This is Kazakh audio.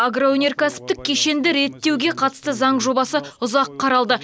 агроөнеркәсіптік кешенді реттеуге қатысты заң жобасы ұзақ қаралды